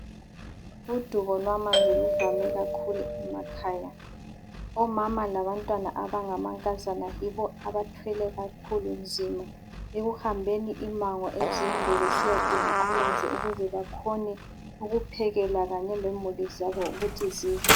Udubo lwamanzi luvame kakhulu emakhaya. Omama labantwana abangamankazana yibo abathwele kakhulu nzima ekuhambeni imango ezinde besiyadinga amanzi ukuze bakhone ukuphekela kanye lemuli zabo ukuthi zidle.